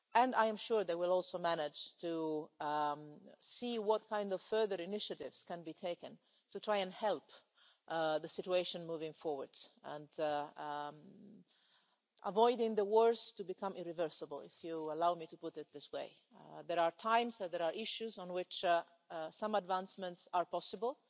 I am sure they will also manage to see what kind of further initiatives can be taken to try and help the situation move forward and avoid the wars becoming irreversible, if you will allow me to put it this way. There are times when there are issues on which some advancements are possible,